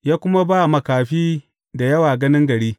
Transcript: Ya kuma ba makafi da yawa ganin gari.